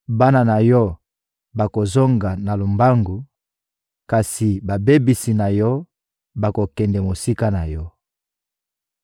Bana na yo bakozonga na lombangu, kasi babebisi na yo bakokende mosika na yo.